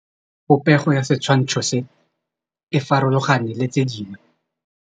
Popêgo ya setshwantshô se, e farologane le tse dingwe.